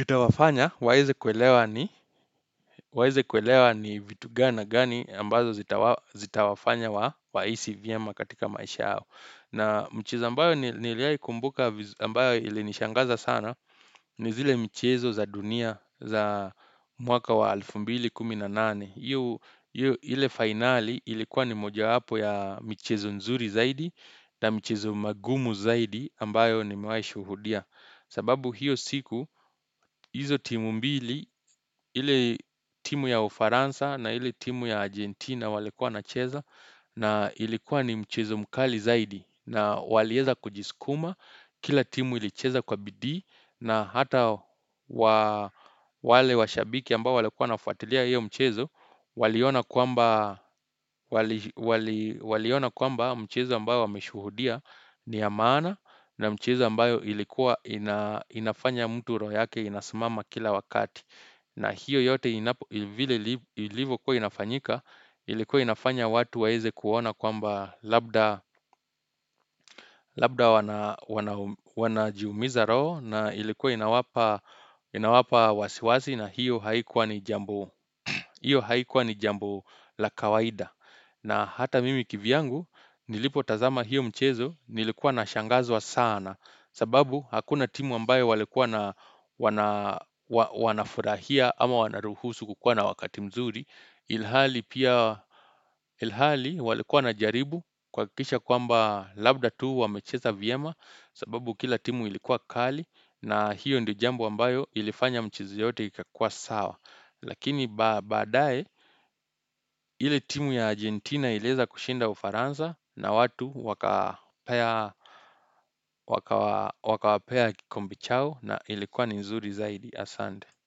itawafanya waeze kuelewa ni waeze kuelewa ni vitu gana gani ambazo zita wafanya wa hisi vyema katika maisha hao na mchezo ambayo niliayikumbuka ambayo ili nishangaza sana ni zile mchezo za dunia za mwaka wa alifu mbili kumi na nane ile finali ilikuwa ni moja hapo ya michezo nzuri zaidi na mchezo magumu zaidi ambayo ni mewaishuhudia sababu hiyo siku hizo timu mbili ile timu ya Ufaransa na ili timu ya Argentina wali kuwa nacheza na ilikuwa ni mchezo mkali zaidi na walieza kujiskuma kila timu ilicheza kwa bidii na hata wale wa shabiki ambao walekuwa nafuatilia hiyo mchezo Waliona kuamba mchezo ambayo wameshuhudia ni ya mana na mchezo ambayo ilikuwa inafanya mtu royake inasmama kila wakati na hiyo yote ilivo kuwa inafanyika Ilikuwa inafanya watu waeze kuona kwamba labda wanajumiza roho na ilikuwa inawapa wasiwasi na hiyo haikuwa ni jambo la kawaida na hata mimi kivyangu nilipo tazama hiyo mchezo nilikuwa na shangazwa sana sababu hakuna timu ambayo walikuwa na wanafurahia ama wana ruhusu kukua na wakati mzuri Ilhali pia ilhali walikuwa na jaribu kwa kisha kwamba labda tuu wamecheza viyema sababu kila timu ilikuwa kali na hiyo ndiyo jambo ambayo ilifanya mchezo yote ikakua sawa Lakini badae ile timu ya Argentina ileza kushinda ufaransa na watu waka wapea kikombe chao na ilikuwa ni nzuri zaidi asande.